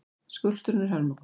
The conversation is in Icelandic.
Skúlptúrinn er hörmung.